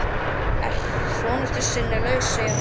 Svona ertu sinnulaus, segir hún þá.